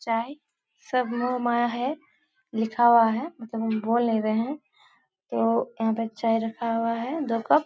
चाय सब मोह माया है। लिखा हुआ है मतलब हम बोल नही रहें हैं। तो यहाँ पे चाय रखा हुआ है दो कप ।